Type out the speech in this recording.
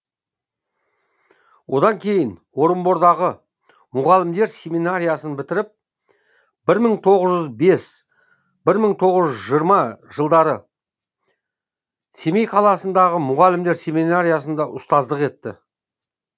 одан кейін орынбордағы мұғалімдер семинариясын бітіріп бір мың тоғыз жүз бес бір мың тоғыз жүз жиырма жылдары семей қаласындағы мұғалімдер семинариясында ұстаздық етті